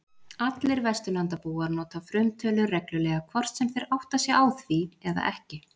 Allir Vesturlandabúar nota frumtölur reglulega hvort sem þeir átta sig á því eða ekki.